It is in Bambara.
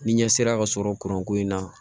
Ni ɲɛ sera ka sɔrɔ kuran ko in na